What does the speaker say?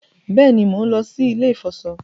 Béèni món ló sì ilè ifọṣọ.